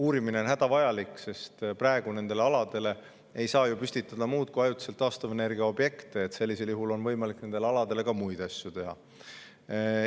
Uurimine on hädavajalik, sest praegu nendele aladele ei saa ju püstitada muud kui ajutisi taastuvenergiaobjekte, sellisel juhul on võimalik nendele aladele ka muid asju teha.